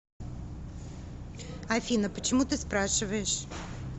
афина почему ты спрашиваешь